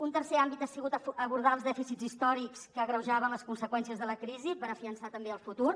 un tercer àmbit ha sigut abordar els dèficits històrics que agreujaven les conseqüències de la crisi per a fiançar també el futur